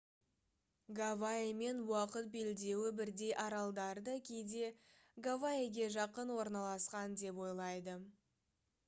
гавайимен уақыт белдеуі бірдей аралдарды кейде «гавайиге жақын орналасқан» деп ойлайды